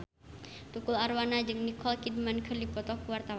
Tukul Arwana jeung Nicole Kidman keur dipoto ku wartawan